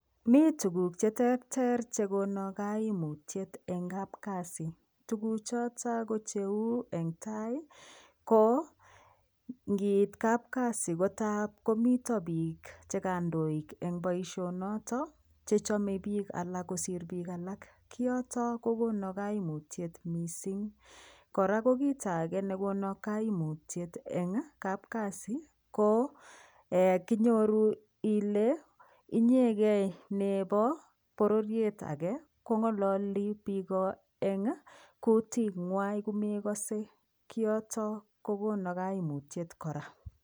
Mi tuguuk che terter che kona kaimutiet eng' kapkasi, tuguchotok ko cheu eng' tai ko ngiit kapkasimkotap komito piik che kandoik eng' poishonok che chome piik alak kosiir piik alak, kioto ko kona kaimutiet missing'. Kora ko kito age nekona kaimutiet eng' kapkasi ko kinyoru kele inyegei nepo pororiet age kong'alali piik kutit nywa kome kase, kioto kokono kaimutiet kora.